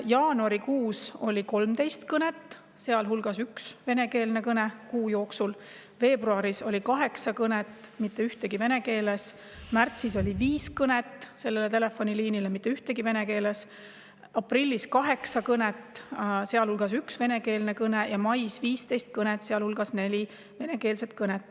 Jaanuarikuus oli 13 kõnet, sealhulgas üks venekeelne kõne kuu jooksul; veebruaris oli kaheksa kõnet, mitte ühtegi vene keeles; märtsis oli viis kõnet sellele telefoniliinile, mitte ühtegi vene keeles; aprillis kaheksa kõnet, sealhulgas üks venekeelne kõne; ja mais 15 kõnet, sealhulgas neli venekeelset kõnet.